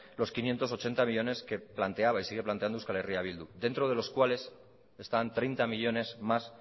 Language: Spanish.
los quinientos ochenta millónes que planteaba y sigue planteando euskal herria bildu dentro de los cuales están treinta millónes más